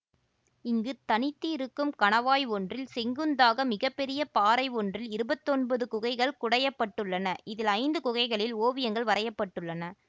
இங்கு தனித்து இருக்கும் கணவாய் ஒன்றில் செங்குத்தாக மிக பெரிய பாறை ஒன்றில் இருபத்தொன்பது குகைகள் குடையப்பட்டுள்ளனஇதில் ஐந்து குகைகளில் ஓவியங்கள் வரையப்பட்டுள்ளன